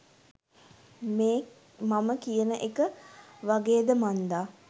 මේ මම කියන එක වගේද මන්දා.